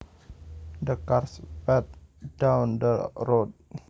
The car sped down the road